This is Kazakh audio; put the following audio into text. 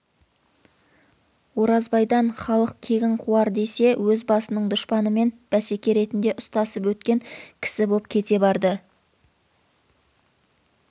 оразбайдан халық кегін қуар десе өз басының дұшпанымен бәсеке ретінде ұстасып өткен кісі боп кете барды